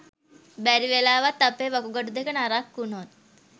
බැරිවෙලාවත් අපේ වකුගඩු දෙක නරක් වුණොත්